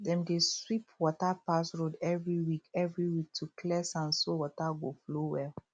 dem dey sweep water pass road every week every week to clear sand so water go flow well